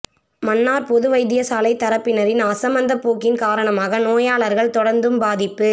மன்னார் பொது வைத்தியசாலை தரப்பினரின் அசமந்தப்போக்கின் காரணமாக நோயாளர்கள் தொடர்ந்தும் பாதிப்பு